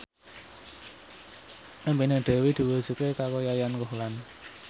impine Dewi diwujudke karo Yayan Ruhlan